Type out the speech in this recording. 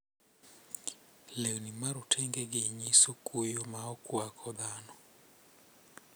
Lewni marotengegi nyiso kuyo maokwako dhano.